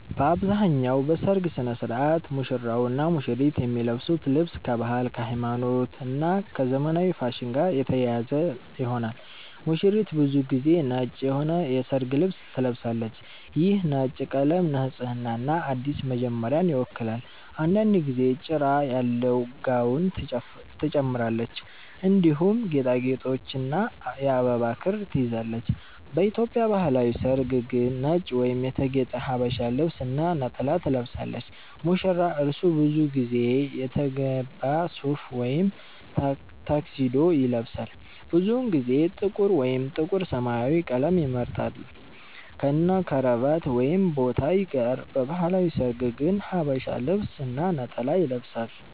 በአብዛኛው በሠርግ ሥነ ሥርዓት ሙሽራውና ሙሽሪት የሚለብሱት ልብስ ከባህል፣ ከሃይማኖት እና ከዘመናዊ ፋሽን ጋር የተያያዘ ይሆናል። ሙሽሪት ብዙ ጊዜ ነጭ የሆነ የሠርግ ልብስ ትለብሳለች። ይህ ነጭ ቀለም ንጽህናንና አዲስ መጀመሪያን ይወክላል። አንዳንድ ጊዜ ጭራ ያለው ጋውን ትጨምራለች፣ እንዲሁም ጌጣጌጥና የአበባ ክር ትይዛለች። በኢትዮጵያ ባህላዊ ሠርግ ግን ነጭ ወይም የተጌጠ ሀበሻ ልብስ እና ነጠላ ትለብሳለች። ሙሽራ : እርሱ ብዙ ጊዜ የተገባ ሱፍ ወይም ታክሲዶ ይለብሳል። ብዙውን ጊዜ ጥቁር ወይም ጥቁር-ሰማያዊ ቀለም ይመርጣል፣ ከነክራቫት ወይም ቦታይ ጋር። በባህላዊ ሠርግ ግን ሐበሻ ልብስ እና ነጠላ ይለብሳል።